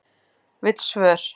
Vill svör